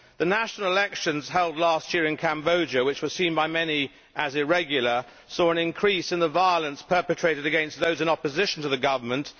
The national elections held last year in Cambodia, which were seen by many as irregular, saw an increase in violence perpetrated against those in opposition to the government.